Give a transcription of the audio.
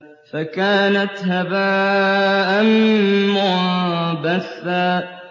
فَكَانَتْ هَبَاءً مُّنبَثًّا